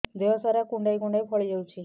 ଦେହ ସାରା କୁଣ୍ଡାଇ କୁଣ୍ଡାଇ ଫଳି ଯାଉଛି